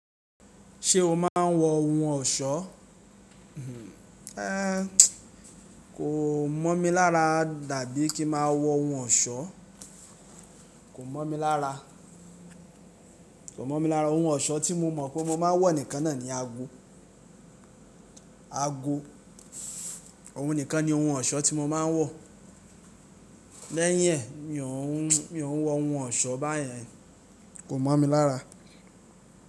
Ṣé o máa ń wọ ohun ọ̀ṣọ́? Kò mọ̀ mi lára dàbí kí ma wọ ohun ọ̀ṣọ́. Kò mọ̀ mi lára. Ohun ọ̀ṣọ́ tí mo mọ̀ pé mo máa ń wọ nìkan náà ni ago. Ago. Ohun nìkan ni ohun ọ̀ṣọ́ tí mo máa ń wọ. Lẹ́yìn ẹ́ mi ò ń wọ ohun ọ̀ṣọ́ báyẹn. Kò mọ̀ mi lára.